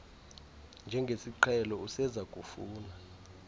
njengesiqhelo useza kufuna